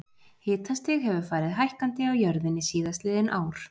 Hitastig hefur farið hækkandi á jörðinni síðastliðin ár.